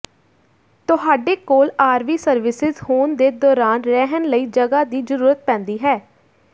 ਤੁਹਾਡੇ ਕੋਲ RV services ਹੋਣ ਦੇ ਦੌਰਾਨ ਰਹਿਣ ਲਈ ਜਗ੍ਹਾ ਦੀ ਜ਼ਰੂਰਤ ਪੈਂਦੀ ਹੈ